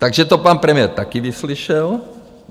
Takže to pan premiér taky vyslyšel.